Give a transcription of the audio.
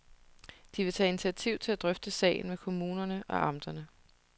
De vil tage initiativ til at drøfte sagen med kommunerne og amterne.